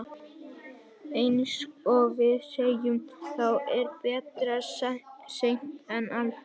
Eins og við segjum, þá er betra seint en aldrei.